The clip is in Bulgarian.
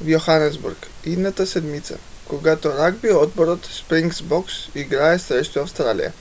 в йоханесбург идната седмица когато ръгби отборът спрингбокс играе срещу австралия